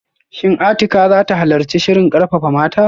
Shin Atikah zata halarci shirin karfafa mata?